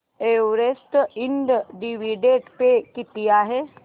Everest Ind dividend pay किती आहे